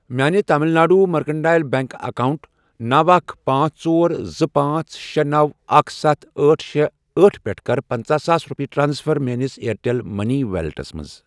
میانہِ Tamil Nadu mercantile bank account نوَ، اکھَ، پانژھ، ژور، زٕ، پانژھ، شے، نوَ، اکھَ، ستھَ، أٹھ، شے، أٹھ، پٮ۪ٹھٕ کر پَنژَہ ساس رۄپیہِ ٹرانسفر میٲنِس اِیَرٹیٚل مٔنی ویلیٹَس مَنٛز۔